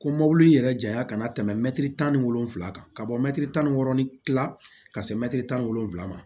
Ko mobili in yɛrɛ janya ka na tɛmɛ mɛtiri tan ni wolonvila kan ka bɔ mɛtiri tan ni wɔɔrɔ ni tila ka se mɛtiri tan ni wolonwula ma